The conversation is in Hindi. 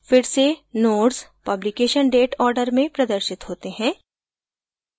फिर से nodes publication date order में प्रदर्शित होते हैं